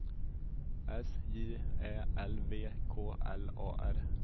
S J Ä L V K L A R